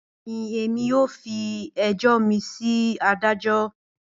Bẹẹni, Emi yoo fi ẹjọ mi si adajọ.